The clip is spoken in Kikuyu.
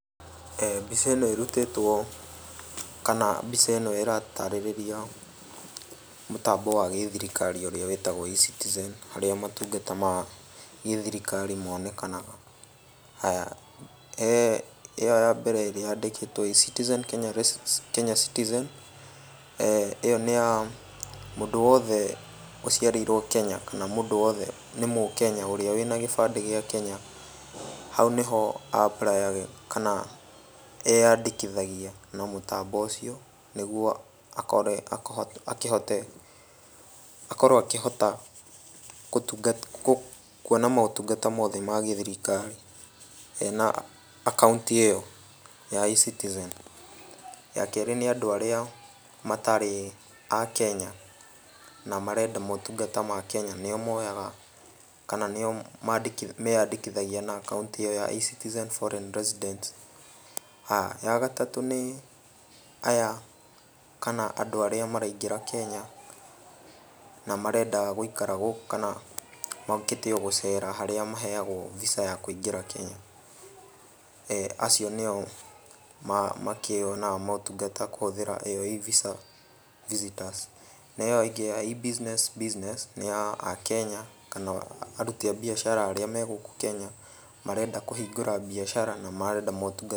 Mbica ĩno ĩrutĩtwo kana mbica ĩno ĩratarĩrĩria mũtambo wa gĩthirikari ũrĩa wĩtagwo E-Citizen harĩa matungata ma gĩthirikari monekanaga, ĩyo ya mbere ĩrĩa yandĩkĩtwo E-Citizen Kenya Citizen, ĩyo nĩ ya mũndũ wothe ũciarĩirwo Kenya kana mũndũ wothe nĩ mũkenya ũrĩa wĩna gĩbandĩ gĩa Kenya, hau nĩho a apply yaga kana akeyandĩkithia na mũtambo ũcio nĩguo akĩhote, akorwo akĩhota kuona motungata mothe ma gĩthirikari na akaũnti ĩyo ya E-Citizen. Ya kerĩ nĩ andũ arĩa matarĩ a Kenya, na marenda motungata ma Kenya nĩyo moyaga kana nĩo meyandĩkithagia na akaũnti ĩyo ya E-Citizen foreign Resident, ya gatatũ nĩ aya kana andũ arĩa maraingĩra Kenya na marenda gũikara gũkũ kana mokĩte o gũcera harĩa maheagwo Visa ya kũingĩra Kenya, acio nĩo makĩonaga motungata kũhũthĩra ĩyo E-Visa visitors, na ĩyo ĩngĩ ya E-Business nĩya akenya kana aruti a biacara arĩa me gũkũ Kenya marenda kũhingũra biacara na marenda motungata